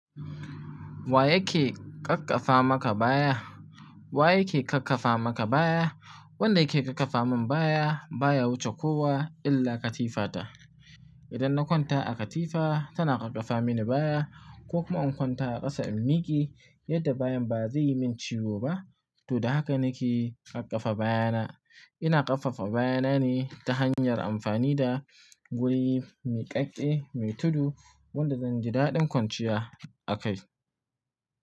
Wa yake ƙaƙƙafa maka baya? Wa yake kakkafa maka baya? Wanda yake kakkafa min baya ba ya wuce kowa illa katifata. Idan na kwanta a katifa tana kakkafa mini baya ko kuma in kwanta a ƙasa in miƙe yadda bayan ba zai yi min ciwo ba. To da haka nake ƙaƙƙafa bayana. Ina ƙaƙƙafa bayana ne ta hanyar amfani da guri miƙaƙƙe mai tudu wanda zan ji daɗin kwanciya a kai.